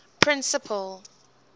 principal